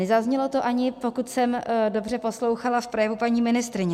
Nezaznělo to ani, pokud jsem dobře poslouchala, v projevu paní ministryně.